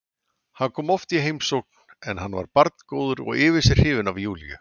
Hann kom oft í heimsókn en hann var barngóður og yfir sig hrifinn af Júlíu.